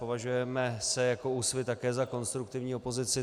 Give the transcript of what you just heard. Považujeme se jako Úsvit také za konstruktivní opozici.